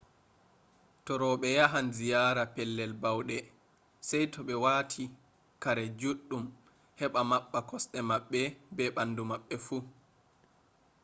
to roɓe yahan ziyara pellel bauɗe sai to ɓe wati kare juɗɗum heɓa maɓɓa kosɗe maɓɓe be bandu maɓɓe fu